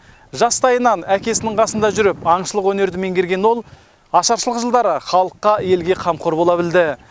жастайынан әкесінің қасында жүріп аңшылық өнерді меңгерген ол ашаршылық жылдары халыққа елге қамқор бола білді